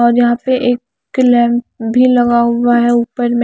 और यहां पे एक लैंप भी लगा हुआ है ऊपर में--